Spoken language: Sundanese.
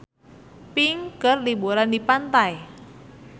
Pink keur liburan di pantai